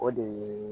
O de ye